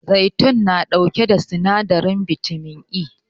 Zaitun na ɗauke da sinadarin bitamin E